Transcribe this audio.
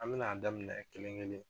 An bɛna daminɛ kelen kelen